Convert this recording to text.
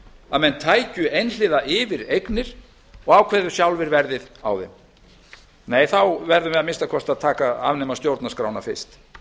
að menn tækju einhliða yfir eignir og ákvæðu sjálfir verðið á þeim nei þá verðum við að minnsta kosti að afnema stjórnarskrána fyrst